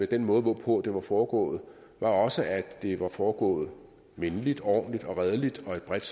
den måde hvorpå det var foregået også skyldtes at det var foregået venligt ordentligt og redeligt